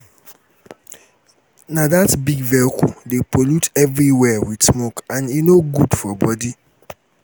na dat big vehicle dey pollute everywhere with smoke and e no good for body.